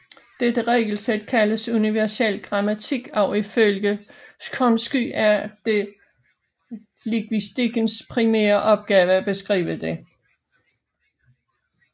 Dette regelsæt kaldes universel grammatik og ifølge Chomsky er det lingvistikkens primære opgave at beskrive det